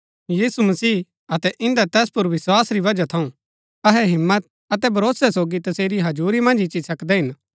यीशु मसीह अतै इन्दै तैस पुर विस्वास री वजह थऊँ अहै हिम्मत अतै भरोसै सोगी तसेरी हजुरी मन्ज इच्ची सकदै हिन